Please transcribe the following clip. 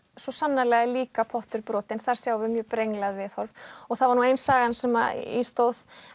svo sannarlega líka pottur brotinn þar sjáum við mjög brenglað viðhorf og þar var nú ein sagan sem í stóð